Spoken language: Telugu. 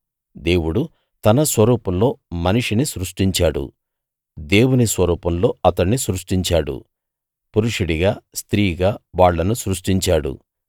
దేవుడు తన స్వరూపంలో మనిషిని సృష్టించాడు దేవుని స్వరూపంలో అతణ్ణి సృష్టించాడు పురుషుడిగా స్త్రీగా వాళ్ళను సృష్టించాడు